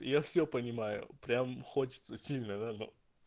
я всё понимаю прям хочется сильно да но